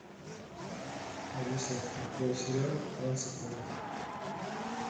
алиса открой сериал клан сопрано